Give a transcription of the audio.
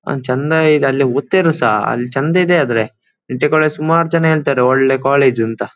ಚಂದ ಇದೆ ಅಲ್ಲಿ ಒದ್ತಿರೋರ್ಸಾ ಅಲ್ಲಿ ಚಂದ ಇದೆ ಆದರೆ ನಿಟ್ಟೆ ಕಾಲೇಜು ಸುಮಾರ್ಜನ ಹೇಳ್ತಾರೆ ಒಳ್ಳೇ ಕಾಲೇಜು ಅಂತ.